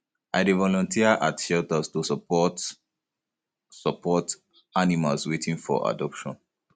i dey volunteer at shelters to support um support um animals waiting for adoption